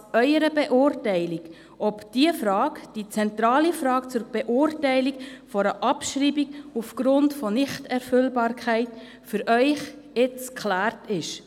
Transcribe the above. Ich überlasse es Ihrer Beurteilung, ob diese Frage – diese zentrale Frage – zur Beurteilung einer Abschreibung aufgrund von Nichterfüllbarkeit nun geklärt ist.